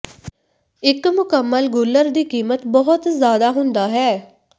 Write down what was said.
ਇੱਕ ਮੁਕੰਮਲ ਗੁਲਰ ਦੀ ਕੀਮਤ ਬਹੁਤ ਜ਼ਿਆਦਾ ਹੁੰਦਾ ਹੈ